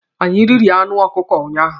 Anyị riri anụ ọkụkọ unyaahụ.